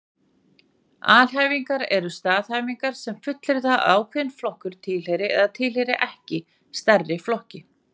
Alhæfingar eru staðhæfingar sem fullyrða að ákveðinn flokkur tilheyri eða tilheyri ekki stærri flokki.